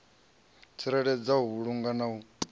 tsireledza u vhulunga na u